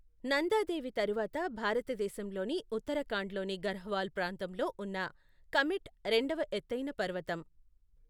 నందా దేవి తరువాత భారతదేశంలోని ఉత్తరాఖండ్లోని గర్హ్వాల్ ప్రాంతంలో ఉన్న కమెట్ రెండవ ఎత్తైన పర్వతం.